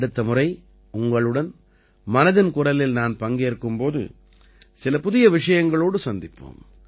அடுத்த முறை உங்களுடன் மனதின் குரலில் நான் பங்கேற்கும் போது சில புதிய விஷயங்களோடு சந்திப்போம்